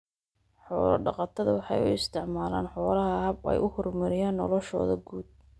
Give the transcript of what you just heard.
Xoolo-dhaqatada waxay u isticmaalaan xoolaha hab ay ku horumariyaan noloshooda guud.